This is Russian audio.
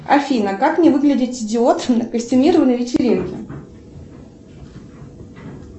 афина как не выглядеть идиотом на костюмированной вечеринке